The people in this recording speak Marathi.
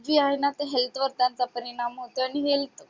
जी आहे ना ते health करतात company ला एक मोठा आणि help